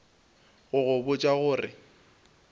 go go botša go re